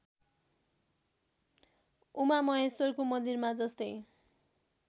उमामहेश्वरको मन्दिरमा जस्तै